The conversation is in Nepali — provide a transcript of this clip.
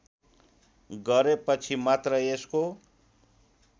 गरेपछि मात्र यसको